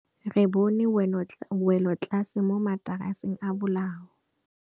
Re bone wêlôtlasê mo mataraseng a bolaô.